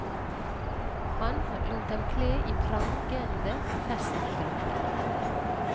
Han lot dem kle i prangende festdrakter.